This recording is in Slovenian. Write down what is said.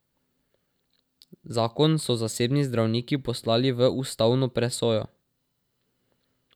Zakon so zasebni zdravniki poslali v ustavno presojo.